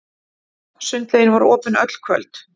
Sundlaugin var opin öll kvöld.